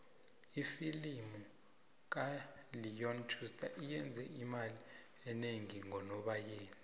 ifilimu kaleon schuster iyenze imali enengi ngonobayeni